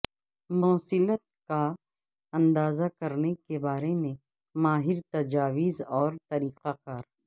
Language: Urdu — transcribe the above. موصلیت کا اندازہ کرنے کے بارے میں ماہر تجاویز اور طریقہ کار